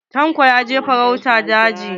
Tanko ya je farauta a jeji.